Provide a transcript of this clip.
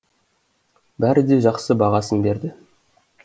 бәрі де жақсы бағасын берді